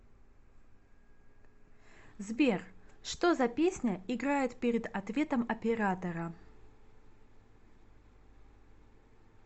сбер что за песня играет перед ответом оператора